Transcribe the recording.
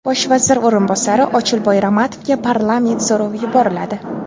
Bosh vazir o‘rinbosari Ochilboy Ramatovga parlament so‘rovi yuboriladi.